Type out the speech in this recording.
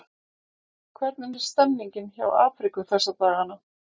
Hvernig er stemningin hjá Afríku þessa dagana?